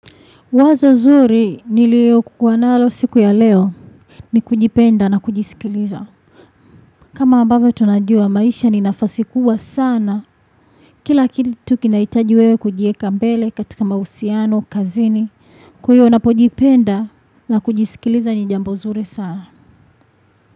Wazo zuri nililokuwa nalo siku ya leo ni kujipenda na kujisikiliza. Kama ambavyo tunajua maisha ni nafasi kubwa sana. Kila kitu kinahitaji wewe kujiweka mbele katika mahusiano, kazini. Kwa hivyo unapojipenda na kujisikiliza ni jambo zuri sana.